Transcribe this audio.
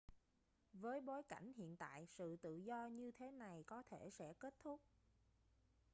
với bối cảnh hiện tại sự tự do như thế này có thể sẽ kết thúc